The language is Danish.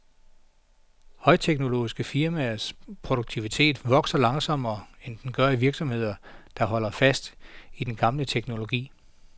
Højteknologiske firmaers produktivitet vokser langsommere, end den gør i virksomheder, der holder fast i den gamle teknologi.